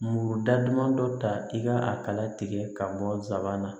Muru da duman dɔ ta i ka a kala tigɛ ka bɔ nsabana na